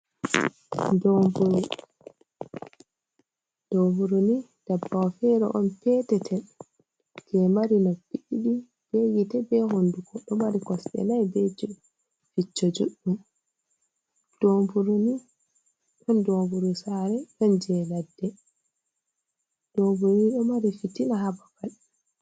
Dooburu, dooburu ni dabbawo fere on peetetel je mari noppi, be gite, be hondugo, ɗo mari kosɗe nai, be je jijjo judɗum, dooburuni ɗon doburu saare ɗon je ladde, dooburuni ɗo mari fitina ha babal.